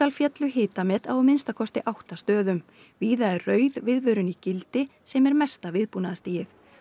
féllu hitamet á að minnsta kosti átta stöðum víða er rauð viðvörun í gildi sem er hæsta viðbúnaðarstigið